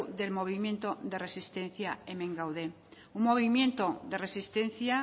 del movimiento de resistencia hemen gaude un movimiento de resistencia